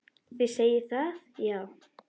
Þið segið það, já.